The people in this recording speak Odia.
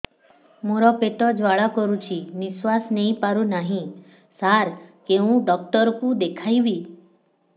ମୋର ପେଟ ଜ୍ୱାଳା କରୁଛି ନିଶ୍ୱାସ ନେଇ ପାରୁନାହିଁ ସାର କେଉଁ ଡକ୍ଟର କୁ ଦେଖାଇବି